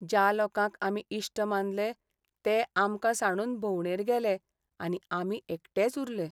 ज्या लोकांक आमी इश्ट मानले ते आमकां सांडून भोंवडेर गेले आनी आमी एकटेच उरले.